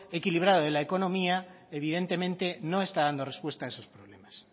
equilibrado de la economía evidentemente no está dando respuesta de sus problemas